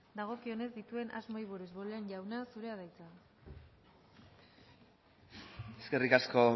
dagokionez dituen asmoei buruz bollain jauna zurea da hitza eskerrik asko